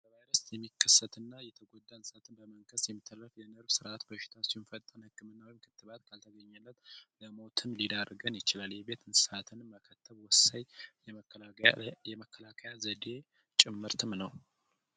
በቫይረስት የሚከሰትና የተጎዳ እንስሰትን በመንከስት የሚተረፍ የነዕርቭ ሥርዓት በሽታችም ፈጣን ህክምናዊም ክትባት ካልተገኘለት ለሞትም ሊዳርገን ይችላል። የቤት እንስሳትንም መከተብ ወሳይ የመከላካያ ዘዴ ጭምርም ነው።